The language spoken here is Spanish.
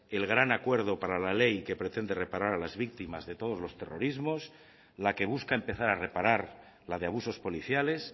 el gran acuerdo para la ley que pretende reparar a las víctimas de todos los terrorismos la que busca empezar a reparar la de abusos policiales